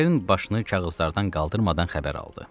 Ken başını kağızlardan qaldırmadan xəbər aldı.